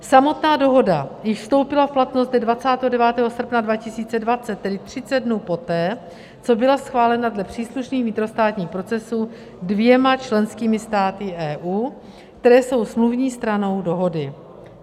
Samotná dohoda již vstoupila v platnost dne 29. srpna 2020, tedy 30 dnů poté, co byla schválena dle příslušných vnitrostátních procesů dvěma členskými státy EU, které jsou smluvní stranou dohody.